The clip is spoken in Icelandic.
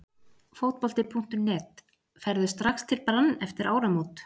Fótbolti.net: Ferðu strax til Brann eftir áramót??